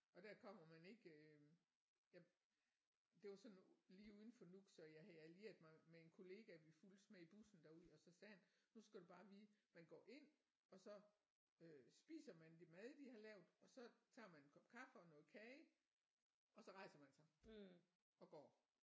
Og der kommer man ikke øh der det var sådan lige uden for Nuuk så jeg havde allieret mig med en kollega vi fulgtes med i bussen derud og så sagde han nu skal du bare vide man går ind og så øh spiser man det mad de har lavet og så tager man en kop kaffe og noget kage og så rejser man sig og går